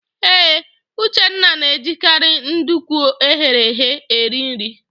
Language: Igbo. Ee, Uchenna na-ejikarị nduku eghere eghe eri nri.